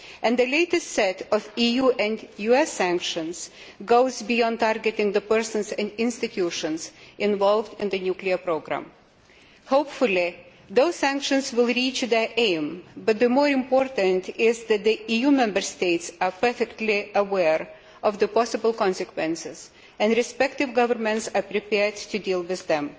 The latest set of EU and US sanctions goes beyond targeting the persons and institutions involved in the nuclear programme. Hopefully those sanctions will achieve their aim, but more important is that the EU Member States are perfectly aware of the possible consequences and that the respective governments are prepared to deal with them.